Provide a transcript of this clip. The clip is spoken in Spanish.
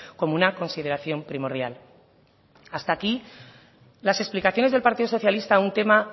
como una consideración primordial hasta aquí las explicaciones del partido socialista a un tema